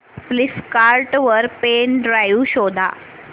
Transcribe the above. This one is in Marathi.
फ्लिपकार्ट वर पेन ड्राइव शोधा